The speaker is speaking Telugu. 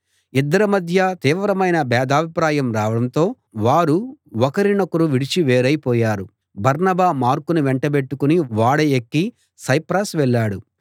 ఇద్దరి మధ్య తీవ్రమైన భేదాభిప్రాయం రావడంతో వారు ఒకరి నొకరు విడిచి వేరైపోయారు బర్నబా మార్కును వెంటబెట్టుకుని ఓడ ఎక్కి సైప్రస్ వెళ్ళాడు